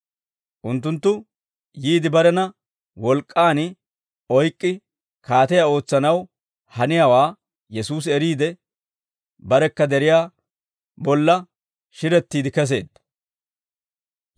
Unttunttu yiide barena wolk'k'an oyk'k'i kaatiyaa ootsanaw haniyaawaa Yesuusi eriide, barekka deriyaa bolla shirettiide keseedda.